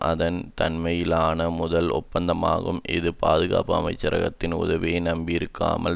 அதன் தன்மையிலான முதல் ஒப்பந்தமாகும் இது பாதுகாப்பு அமைச்சரகத்தின் உதவியை நம்பியிருக்காமல்